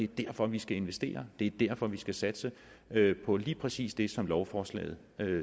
derfor vi skal investere det er derfor vi skal satse på lige præcis det som lovforslaget